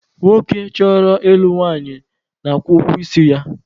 Nwoke chọrọ ịlụ nwanyị na-akwụ ụgwọ isi ya.